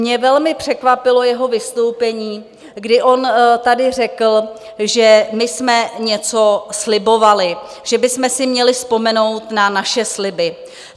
Mě velmi překvapilo jeho vystoupení, kdy on tady řekl, že my jsme něco slibovali, že bychom si měli vzpomenout na naše sliby.